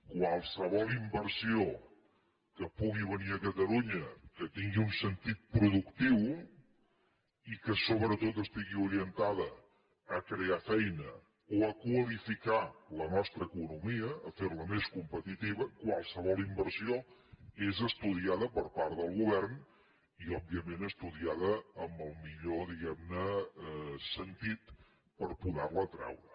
qualsevol inversió que pugui venir a catalunya que tingui un sentit productiu i que sobretot estigui orientada a crear feina o a qualificar la nostra economia a fer la més competitiva qualsevol inversió és estudiada per part del govern i òbviament estudiada amb el millor diguem ne sentit per poder la atreure